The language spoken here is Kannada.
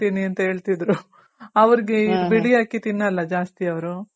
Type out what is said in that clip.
ಅಂತ ಹೇಳ್ತಿದ್ರು ಅವರ್ಗೆ ಇದ್ ಬಿಳಿ ಅಕ್ಕಿ ತಿನ್ನಲ್ಲ ಜಾಸ್ತಿ ಅವ್ರು.